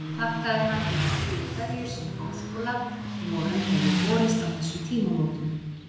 Þakkaði hann hinar hlýju kveðjur, sem Háskóla vorum hefðu borist á þessum tímamótum.